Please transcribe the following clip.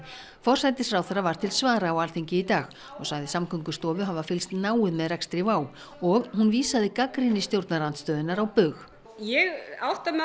forsætisráðherra var til svara á Alþingi í dag og sagði Samgöngustofu hafa fylgst náið með rekstri WOW og hún vísaði gagnrýni stjórnarandstöðunnar á bug ég átta mig